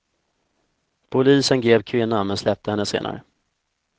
Polisen grep kvinnan men släppte henne senare.